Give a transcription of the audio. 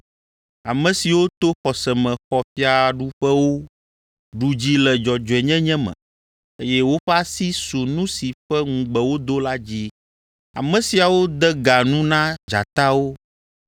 ame siwo to xɔse me xɔ fiaɖuƒewo, ɖu dzi le dzɔdzɔenyenye me, eye woƒe asi su nu si ƒe ŋugbe wodo la dzi. Ame siawo de ga nu na dzatawo,